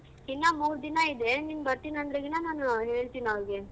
ಇನ್ನ ಮೂರ್ ದಿನ ಇದೆ ನೀನ್ ಬರ್ತೀನ್ ಅಂದ್ರೆ ದಿನ ನಾನು ಹೇಳ್ತೀನ್ ಅವ್ರ್ಗೆ.